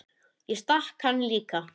Ég stakk hann líka.